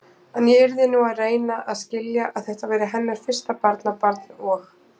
En ég yrði nú að reyna að skilja, að þetta væri hennar fyrsta barnabarn og.